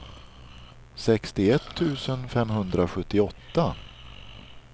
sextioett tusen femhundrasjuttioåtta